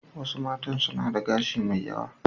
Wasu matan suna da gashi mai yawa.